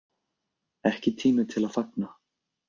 Ekki tími til að fagna